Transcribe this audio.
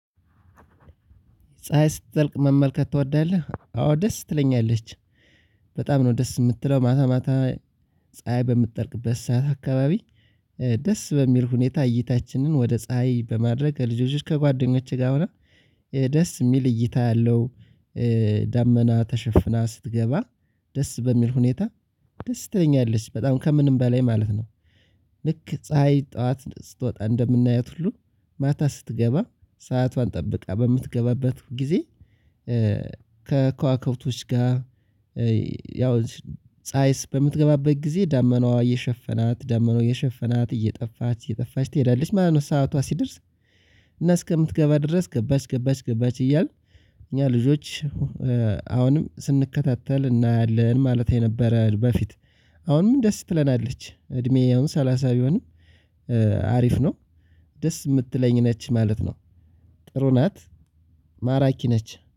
ፀሀይ ስትጠልቅ መመልከት ትወዳለህ? አዎ ደስ ትለኛለች በጣም ነው ደስ የምትለው ማታ ማታ ፀሀይ በምትጠልቅበት ሰዓት አካባቢ። ደስ በሚል ሁኔታ እይታችንን ወደ ፀሀይ በማድረግ ልጆች ከጓደኞቼ ጋር ሆና። ደስ የሚል እይታ ያለው። ዳመና ተሽፍና ስትገባ ደስ በሚል ሁኔታ። ደስ ትለኛለች በጣም ከምንም በላይ ማለት ነው። ልክ ፀሀይ ጠዋት ስትወጣ እንደምናያት ሁሉ ማታ ስትገባ ሰዓቷን ጠብቃ በምትገባበት ጊዜ። ከከዋክብቶች ጋር። ያው ፀሀይ በምትገባበት ጊዜ ዳመናው እየሸፈናት ዳመናው እየሸፈናት እየጠፋች እየጠፋች ትሄዳለች ማለት ነው። ሰዓቷ ሲደርስ። እና እስከምትገባ ድረስ ገባች ገባች ገባች እያልን እኛ ልጆች አሁንም ስንከታተል እናያለን ማለት የነበረ በፊት። አሁንም ደስ ትለናለች እድሜ አሁን ሰላሳ ቢሆንም አሪፍ ነው። ደስ የምትለኝ ነች ማለት ነው። ጥሩ ናት። ማራኪ ነች